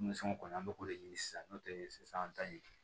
Denmisɛnw kɔni an bɛ k'o de ɲini sisan n'o tɛ sisan an ta ye